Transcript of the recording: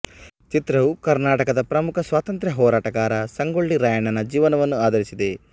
ಚಿತ್ರವು ಕರ್ನಾಟಕದ ಪ್ರಮುಖ ಸ್ವಾತಂತ್ರ್ಯ ಹೋರಾಟಗಾರ ಸಂಗೊಳ್ಳಿ ರಾಯಣ್ಣನ ಜೀವನವನ್ನು ಆಧರಿಸಿದೆ